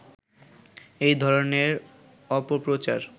এই ধরনের অপপ্রচার